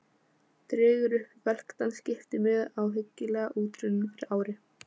Dregur upp velktan skiptimiða, ábyggilega útrunninn fyrir ári.